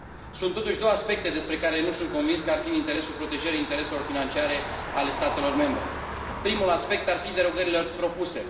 Sunt, totuși, două aspecte despre care nu sunt convins că ar fi în interesul protejării intereselor financiare ale statelor membre primul aspect ar fi derogările propuse.